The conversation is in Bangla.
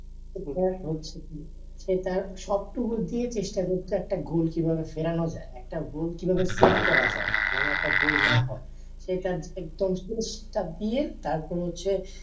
এটা হচ্ছে কি সেটার সব টুকু দিয়ে চেষ্টা করতো একটা গোল কি ভাবে ফেরানো যায় একটা গোল কি ভবে সেভ করা যায় যেনও একটা গল না হয় সে তার একদম টা দিয়ে তার পরে হচ্ছে